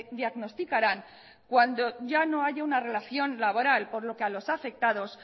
diagnosticarán cuando ya no haya una relación laboral por lo que a los afectados